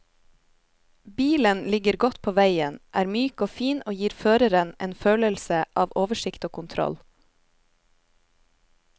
Bilen ligger godt på veien, er myk og fin og gir føreren en følelse av oversikt og kontroll.